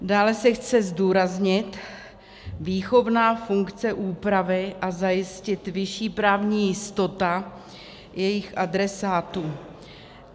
Dále se chce zdůraznit výchovná funkce úpravy a zajistit vyšší právní jistota jejích adresátů.